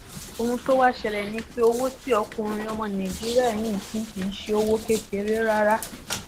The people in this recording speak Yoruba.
ohun tó wàá ṣẹlẹ ni pé owó tí ọkùnrin ọmọ nàìjíríà yìí pín kì í ṣe owó kékeré rárá